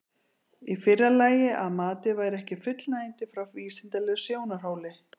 Í fyrra lagi að matið væri ekki fullnægjandi frá vísindalegum sjónarhóli.